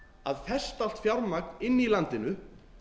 að festa allt fjármagn inni í landinu